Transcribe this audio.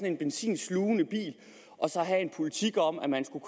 en benzinslugende bil og så at have en politik om at man skulle